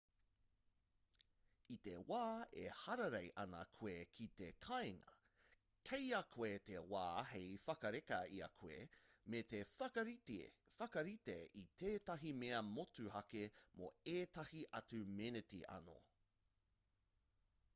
i te wā e hararei ana koe ki te kāinga kei a koe te wā hei whakareka i a koe me te whakarite i tētahi mea motuhake mō ētahi atu meneti anō